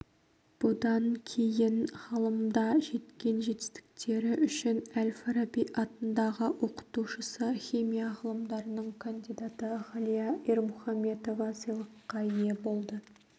бұдан кейін ғылымда жеткен жетістіктері үшін әл-фараби атындағы оқытушысы химия ғылымдарының кандидаты ғалия ирмұхаметова сыйлыққа ие болды